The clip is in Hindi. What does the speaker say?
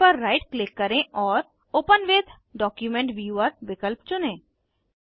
फाइल पर राइट क्लिक करें और ओपन विथ डॉक्यूमेंट व्यूवर विकल्प चुनें